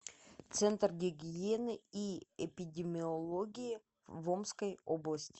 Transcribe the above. центр гигиены и эпидемиологии в омской области